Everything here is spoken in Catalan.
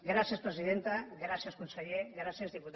gràcies presidenta gràcies conseller gràcies diputats i diputades